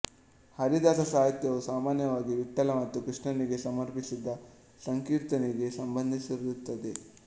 ಹರಿದಾಸ ಸಾಹಿತ್ಯವು ಸಾಮಾನ್ಯವಾಗಿ ವಿಠ್ಠಲ ಮತ್ತು ಕೃಷ್ಣನಿಗೆ ಸಮರ್ಪಿಸಿದ ಸಂಕೀರ್ತನೆಗೆ ಸಂಬಂಧಿಸಿರುತ್ತದೆ